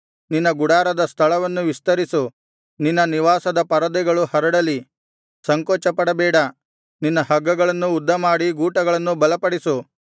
ನಿನ್ನ ಗುಡಾರದ ಸ್ಥಳವನ್ನು ವಿಸ್ತರಿಸು ನಿನ್ನ ನಿವಾಸದ ಪರದೆಗಳು ಹರಡಲಿ ಸಂಕೋಚಪಡಬೇಡ ನಿನ್ನ ಹಗ್ಗಗಳನ್ನು ಉದ್ದಮಾಡಿ ಗೂಟಗಳನ್ನು ಬಲಪಡಿಸು